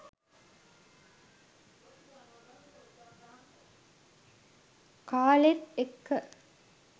කාලෙත් එක්ක.